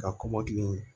Ka kɔmɔkili